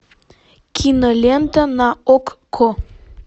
кинолента на окко